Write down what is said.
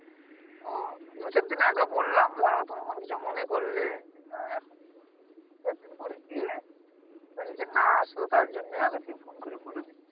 তো দু চার দিন আগেও বললাম ধরো তুমি মনে কিছু মনে করলে এখন দু চার দিন পরে গিয়ে না শুধু তার জন্যে আগে থেক ফোন করে বলে দেই